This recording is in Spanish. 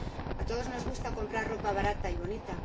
A todos nos gusta comprar ropa barata y bonita.